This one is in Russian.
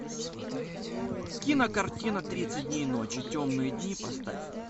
кинокартина тридцать дней ночи темные дни поставь